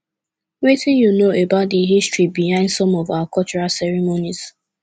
wetin you know about di history behind some of our cultural ceremonies